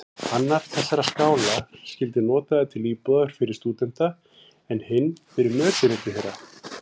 Annar þessara skála skyldi notaður til íbúðar fyrir stúdenta, en hinn fyrir mötuneyti þeirra.